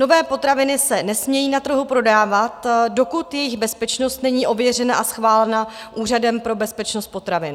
Nové potraviny se nesmějí na trhu prodávat, dokud jejich bezpečnost není ověřena a schválena Úřadem pro bezpečnost potravin.